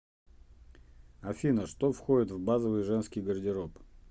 афина что входит в базовый женский гардероб